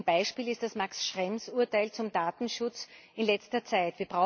Ein Beispiel ist das Max Schrems Urteil zum Datenschutz in letzter Zeit.